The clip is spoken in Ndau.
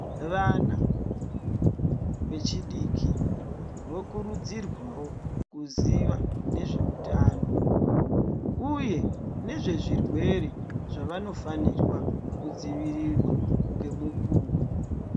Vana vechidiki vokurudzirwawo kuziva nezveutano uye nezvezvirwere zvavanofanirwa kudzivirirwa ngemukuwo .